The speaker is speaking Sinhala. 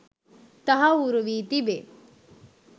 තහවුරු වී තිබේ.